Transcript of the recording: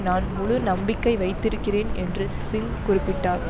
நான் முழு நம்பிக்கை வைத்திருக்கிறேன் என்று சிங் குறிப்பிட்டார்